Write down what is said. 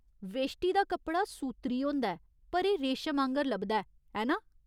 वेश्टि दा कपड़ा सूत्तरी होंदा ऐ, पर एह् रेशम आङर लभदा ऐ, ऐ ना ?